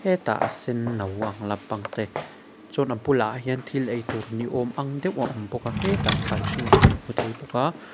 hetah a sen no ang lampang te chuan a bulah hian thil ei tur ni awm ang deuh a awm bawk a hetah thlai hring te kan hmu thei bawk a.